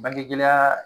Bangegɛlɛya